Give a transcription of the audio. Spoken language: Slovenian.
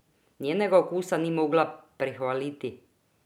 Njenega okusa ni mogla prehvaliti!